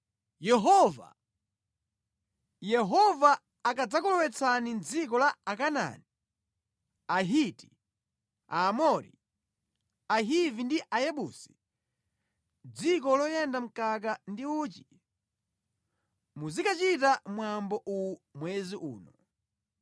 Yehova akadzakulowetsani mʼdziko la Akanaani, Ahiti, Aamori, Ahivi ndi Ayebusi, dziko loyenda mkaka ndi uchi, muzikachita mwambo uwu mwezi uno.